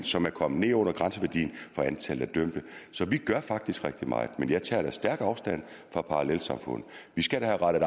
som er kommet ned under grænseværdien for antallet af dømte så vi gør faktisk rigtig meget men jeg tager da stærkt afstand fra parallelsamfund vi skal da have rettet